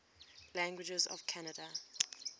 languages of canada